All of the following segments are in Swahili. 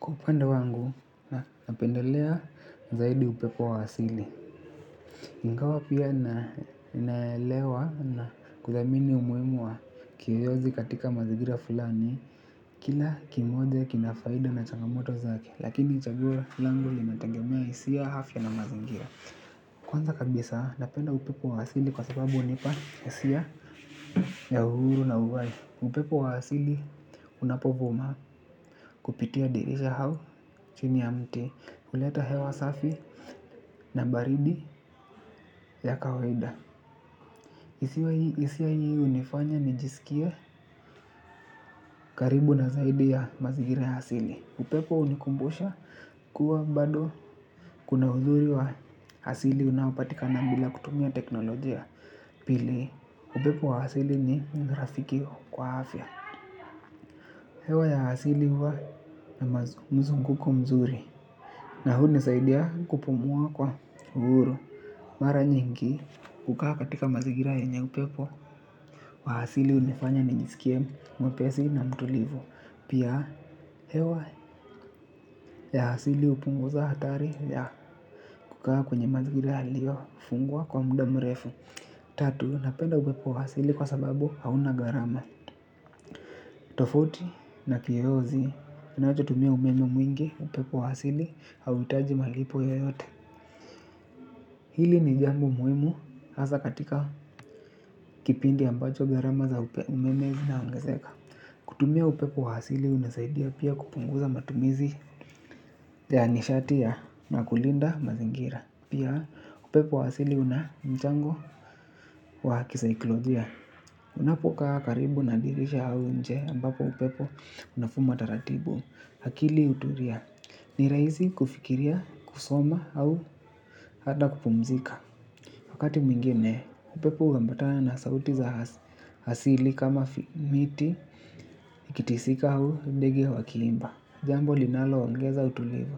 Kwa upande wangu, napendelea zaidi upepo wa asili ingawa pia ninaelewa na kuthamini umuhimu kiyoyozi katika mazingira fulani. Kila kimoja kina faida na changamoto zake. Lakini chaguo langu linategemea hisia afya na mazingira. Kwanza kabisa, napenda upepo wa asili kwa sababu hunipa hisia ya uhuru na uhai upepo wa asili unapovuma kupitia dirisha au chini ya mti huleta hewa safi na baridi ya kawaida hisia hii hunifanya nijisikie karibu na zaidi ya mazingira ya asili upepo hunikumbusha kuwa bado kuna uzuri wa asili unaopatika na bila kutumia teknolojia pili upepo wa asili ni rafiki kwa afya. Hewa ya asili huwa na mzunguko mzuri. Na hunisaidia kupumua kwa uhuru. Mara nyingi kukaa katika mazingira yenye upepo wa asili hunifanya ni nijiskie mwepesi na mtulivu. Pia hewa ya asili hupunguza hatari ya kukaa kwenye mazingira yaliyofungwa kwa muda mrefu. Tatu, napenda upepo wa asili kwa sababu hauna gharama. Tofauti na kiyoyozi, kinachotumia umeme mwingi upepo wa asili hauhitaji malipo yoyote. Hili ni jambo muhimu hasa katika kipindi ambacho gharama za umeme zinaongezeka. Kutumia upepo wa asili unasaidia pia kupunguza matumizi ya nishati na kulinda mazingira. Pia upepo wa asili una mchango wa kisaikolojia. Unapokaa karibu na dirisha au nje ambapo upepo unavuma taratibu. Akili hutulia ni rahisi kufikiria, kusoma au hata kupumzika. Wakati mwingine upepo huambatana na sauti za asili kama miti ikitisika au ndege wakiimba. Jambo linaloongeza utulivu.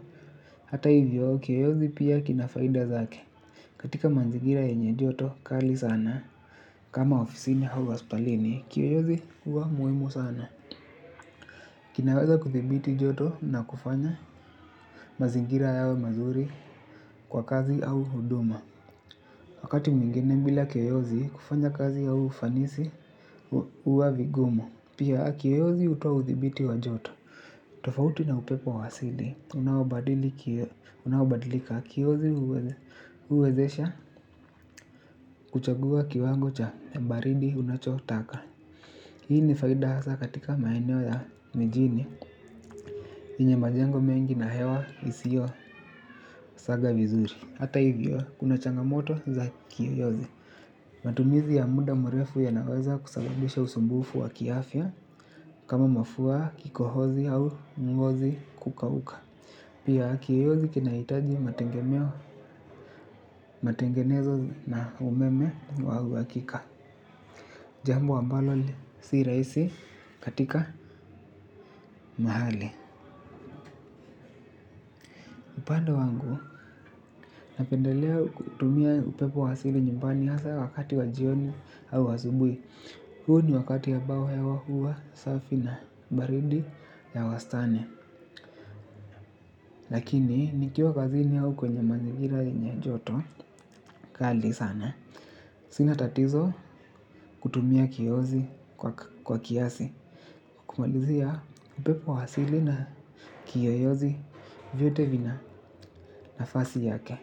Hata hivyo kiyoyozi pia kina faida zake. Katika manzigira yenye joto kali sana kama ofisini au wa hospitalini kiyoyozi hua muhimu sana. Kinaweza kuthibiti joto na kufanya mazingira yawe mazuri kwa kazi au huduma. Wakati mwingine bila kiyoyozi kufanya kazi ya ufanisi huwa vigumu. Pia kiyoyozi hutoa uthibiti wa joto. Tofauti na upepo wa asili unaobadilika kiyoyozi huwezesha kuchagua kiwango cha baridi unachotaka. Hii ni faida hasa katika maeneeo za mjini yenye majengo mengi na hewa isiyo saga vizuri. Hata hivyo kuna changamoto za kiyoyozi. Matumizi ya muda mrefu ya naweza kusababisha usumbufu wa kiafya kama mafua kikohozi au ngozi kukauka. Pia kiyoyozi kinahitaji mategemeo matengenezo na umeme wa uhakika. Jambo ambalo si rahisi katika mahali. Upande wangu napendelea kutumia upepo wa asili nyumbani hasa wakati wa jioni au asubuhi. Huo ni wakati ya ambao hewa huwa, safi na baridi ya wastani. Lakini, nikiwa kazini au kwenye mazingira yenye joto, kali sana. Sina tatizo kutumia kiyoyozi kwa kiasi. Kumalizia upepo wa asili na kiyoyozi vyote vina nafasi yake.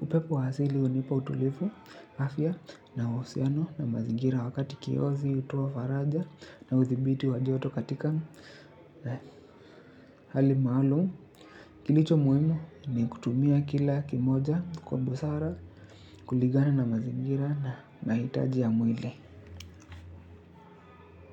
Upepo wa asili hunipa utulivu, afya, na uhusiano na mazigira wakati kiyoyozi hutoa faraja na uthibiti wa joto katika hali maalum. Kilicho muhimu ni kutumia kila kimoja kwa busara kulingana na mazingira na hitaji ya mwili.